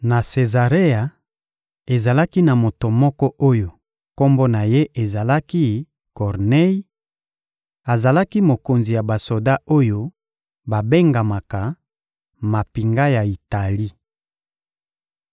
Na Sezarea, ezalaki na moto moko oyo kombo na ye ezalaki «Kornei;» azalaki mokonzi ya basoda oyo babengamaka «mampinga ya Itali.»